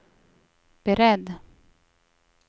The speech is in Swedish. beredd